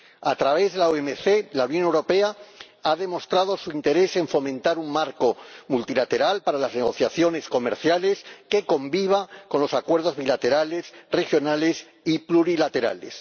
A través de la OMC, la Unión Europea ha demostrado su interés en fomentar un marco multilateral para las negociaciones comerciales que conviva con los acuerdos bilaterales, regionales y plurilaterales.